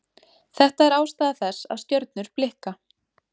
Þetta er ástæða þess að stjörnur blikka.